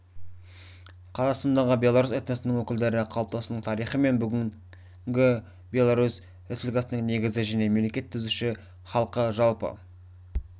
қазақстандағы белорус этносының өкілдері қалыптасуының тарихы мен бүгіні беларусь республикасының негізгі және мемлекет түзуші халқы жалпы